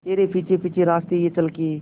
तेरे पीछे पीछे रास्ते ये चल के